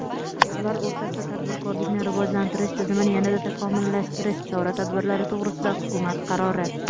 ular o‘rtasida tadbirkorlikni rivojlantirish tizimini yanada takomillashtirish chora-tadbirlari to‘g‘risida Hukumat qarori.